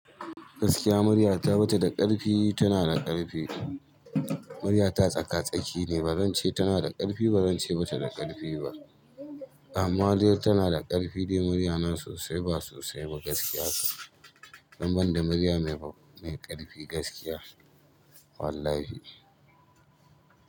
Gaskiya murya ta ba ta da ƙarfi, tana da ƙarfi. Murya ta tsaka-tsaki ne, ba zan ce tana da ƙarfi ba zan ce ba ta da ƙarfi ba. Amma dai tana da ƙarfi dai, murya na sosai ba sosai ba gaskiya. Dan banda murya mai ƙarfi gaskiya wallahi.